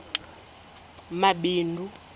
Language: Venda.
mabindu